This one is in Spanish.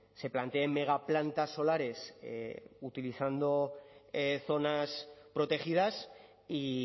se planteen megaplantas solares utilizando zonas protegidas y